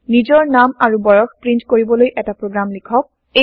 নিজৰ নাম আৰু বয়স প্ৰীন্ট কৰিবলৈ এটা প্ৰগ্ৰাম লিখক